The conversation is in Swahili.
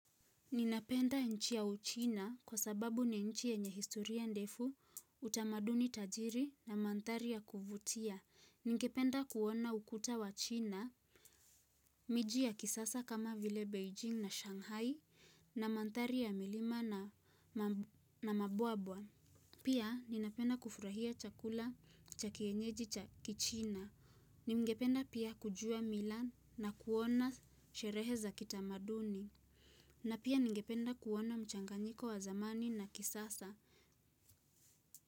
Ninapenda nchi ya uchina kwa sababu ni nchi ya yenye historia ndefu utamaduni tajiri na mandhari ya kuvutia. Ningependa kuona ukuta wa china. Miji ya kisasa kama vile Beijing na Shanghai na mandhari ya milima na mabuabwa. Pia ninapenda kufurahia chakula cha kienyeji cha kichina. Ningependa pia kujua mila na kuona sherehe za kitamaduni. Na pia ningependa kuona mchanganyiko wa zamani na kisasa.